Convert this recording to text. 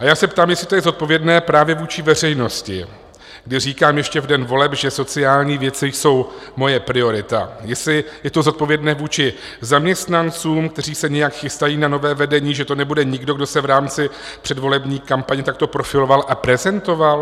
A já se ptám, jestli to je zodpovědné právě vůči veřejnosti, kdy říkám ještě v den voleb, že sociální věci jsou moje priorita, jestli je to zodpovědné vůči zaměstnancům, kteří se nějak chystají na nové vedení, že to nebude nikdo, kdo se v rámci předvolební kampaně takto profiloval a prezentoval?